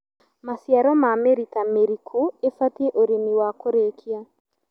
Maciaro ma mĩrita mĩriku ibatie ũrĩmi wa kũrikia